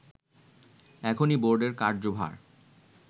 এখনই বোর্ডের কার্যভার